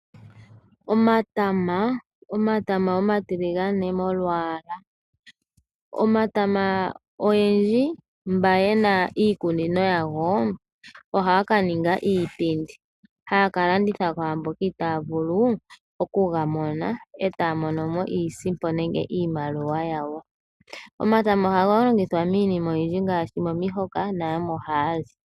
Omatama, omatama omatiligane molwaala omatama oyendji mba yena iikunino yago ohaaka ninga iipindi haya kalanditha kwaamboka itaya vulu okugamona etaa monomo iisimpo nenge iimaliwa yawo. Omatama ohaga longithwa miinima oyindji ngaashi momihoka nayamwe ohaya li.